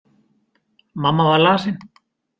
Mamma var lasin.